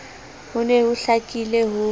ho ne ho hlakile ho